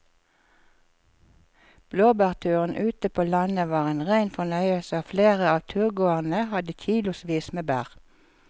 Blåbærturen ute på landet var en rein fornøyelse og flere av turgåerene hadde kilosvis med bær.